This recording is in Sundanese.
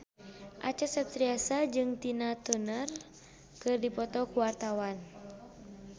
Acha Septriasa jeung Tina Turner keur dipoto ku wartawan